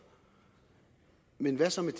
men hvad så med